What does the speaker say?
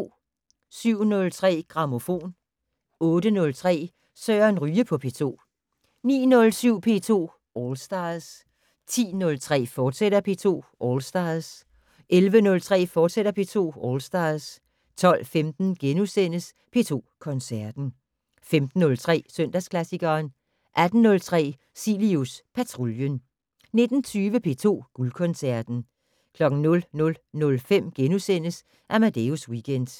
07:03: Grammofon 08:03: Søren Ryge på P2 09:07: P2 All Stars 10:03: P2 All Stars, fortsat 11:03: P2 All Stars, fortsat 12:15: P2 Koncerten * 15:03: Søndagsklassikeren 18:03: Cilius Patruljen 19:20: P2 Guldkoncerten 00:05: Amadeus Weekend *